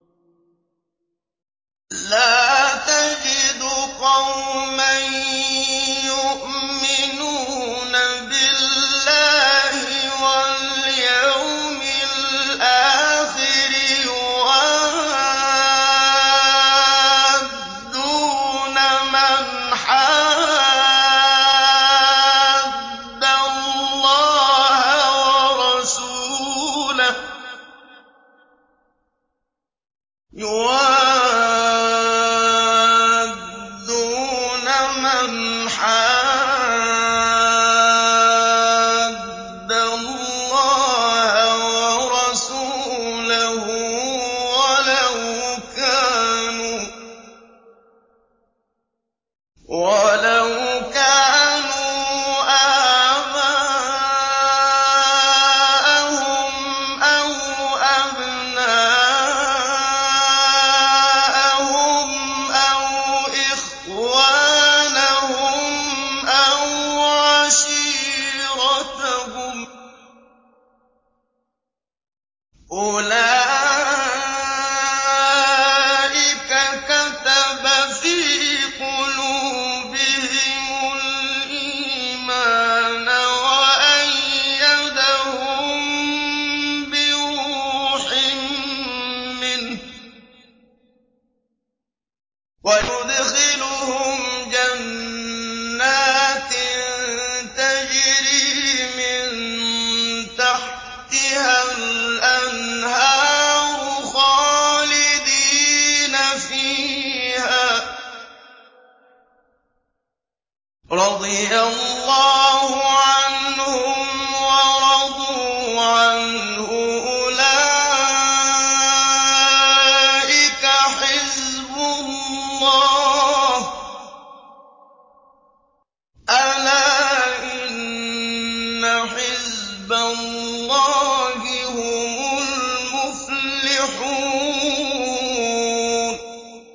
لَّا تَجِدُ قَوْمًا يُؤْمِنُونَ بِاللَّهِ وَالْيَوْمِ الْآخِرِ يُوَادُّونَ مَنْ حَادَّ اللَّهَ وَرَسُولَهُ وَلَوْ كَانُوا آبَاءَهُمْ أَوْ أَبْنَاءَهُمْ أَوْ إِخْوَانَهُمْ أَوْ عَشِيرَتَهُمْ ۚ أُولَٰئِكَ كَتَبَ فِي قُلُوبِهِمُ الْإِيمَانَ وَأَيَّدَهُم بِرُوحٍ مِّنْهُ ۖ وَيُدْخِلُهُمْ جَنَّاتٍ تَجْرِي مِن تَحْتِهَا الْأَنْهَارُ خَالِدِينَ فِيهَا ۚ رَضِيَ اللَّهُ عَنْهُمْ وَرَضُوا عَنْهُ ۚ أُولَٰئِكَ حِزْبُ اللَّهِ ۚ أَلَا إِنَّ حِزْبَ اللَّهِ هُمُ الْمُفْلِحُونَ